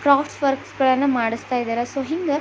crafts works ಗಳನ್ನು ಮಾಡಿಸ್ತಾಯಿದ್ದಾರೆ so ಹಿಂಗ --